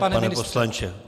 Už ne, pane poslanče.